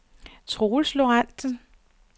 Troels Lorentsen